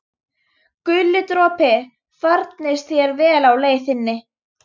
Guli dropi, farnist þér vel á leið þinni.